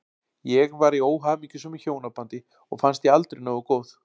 Ég var í óhamingjusömu hjónabandi og fannst ég aldrei nógu góð.